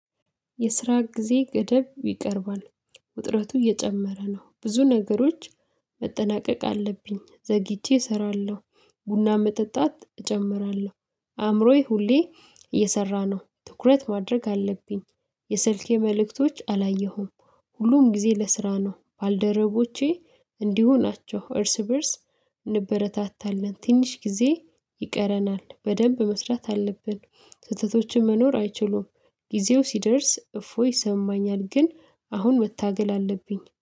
የስራ ጊዜ ገደብ ይቀርባል ውጥረቱ እየጨመረ ነው። ብዙ ነገሮች መጠናቀቅ አለብኝ ዘግይቼ እሰራለሁ። ቡና መጠጣት እጨምራለሁ አእምሮዬ ሁሌ እየሰራ ነው ትኩረት ማድረግ አለብኝ። የስልኬ መልእክቶች አላየሁም። ሁሉም ጊዜ ለስራ ነው ባልደረቦቼ እንዲሁ ናቸው። እርስ በእርስ እንበረታታለን ትንሽ ጊዜ ይቀረናል በደንብ መስራት አለብን። ስህተቶችን መኖር አይችሉም። ጊዜው ሲደርስ እፎይ ይሰማኛል ግን አሁን መታገል አለብኝ